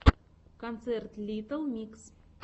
концерт литтл микс